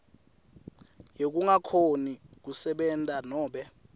yekungakhoni kusebenta nobe